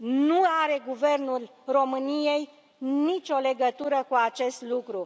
Nu are Guvernul României nicio legătură cu acest lucru.